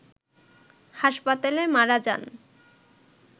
হাসপাতালে মারা যান